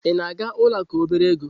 Ị na-aga ụlọ akụ obere ego?